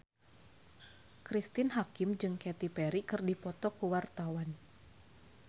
Cristine Hakim jeung Katy Perry keur dipoto ku wartawan